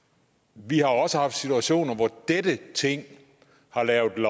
vi også har haft situationer hvor dette ting har lavet